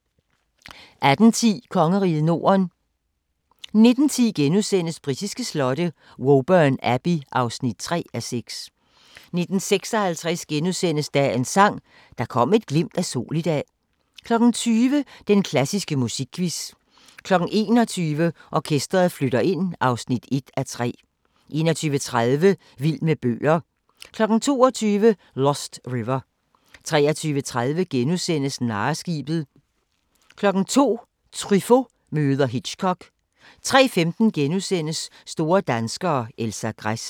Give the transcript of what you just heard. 18:10: Kongeriget Norden 19:10: Britiske slotte: Woburn Abbey (3:6)* 19:56: Dagens Sang: Der kom et glimt af sol i dag * 20:00: Den klassiske musikquiz 21:00: Orkestret flytter ind (1:3) 21:30: Vild med bøger 22:00: Lost River 23:30: Narreskibet * 02:00: Truffaut møder Hitchcock 03:15: Store danskere - Elsa Gress *